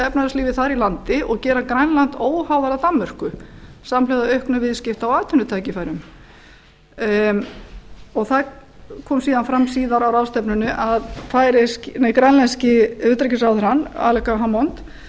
efnahagslífið þar í landi og gera grænland óháðara danmörku samhliða auknum viðskipta og atvinnutækifærum það kom síðar fram síðar fram á ráðstefnunni að grænlenski utanríkisráðherrann aleqa hammond óskaði